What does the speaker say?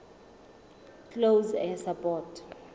close air support